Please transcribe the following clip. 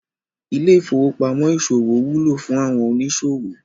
Ilé ìfowópamó ìsòwò wúlò fún àwọn òníṣòwò